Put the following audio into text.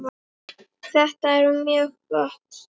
Þetta er mjög gott.